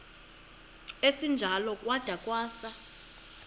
esinjalo kwada kwasa